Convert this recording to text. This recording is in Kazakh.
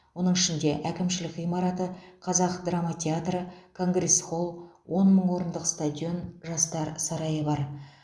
оның ішінде әкімшілік ғимараты қазақ драма театры конгресс хол он мың орындық стадион жастар сарайы бар